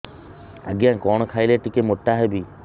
ଆଜ୍ଞା କଣ୍ ଖାଇଲେ ଟିକିଏ ମୋଟା ହେବି